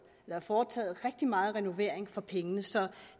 foretaget rigtig meget renovering for pengene så